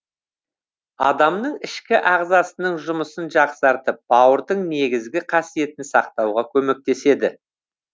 адамның ішкі ағзасының жұмысын жақсартып бауырдың негізгі қасиетін сақтауға көмектеседі